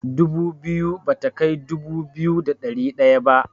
Dubu biyu bata kai dubu biyu da ɗari ɗaya ba.